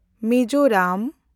Mizoram